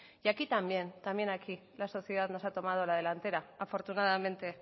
y aquí también también aquí la sociedad nos ha tomado la delantera afortunadamente